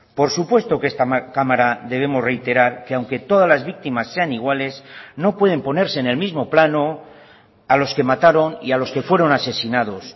por supuesto que esta cámara debemos reiterar que aunque todas las víctimas sean iguales no pueden ponerse en el mismo plano a los que mataron y a los que fueron asesinados